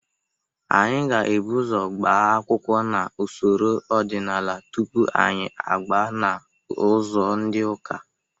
Anyị ga-ebụ ụzọ gba akwụkwọ n'usoro ọdịnala tupu anyị agba n'ụzọ ndị ụka.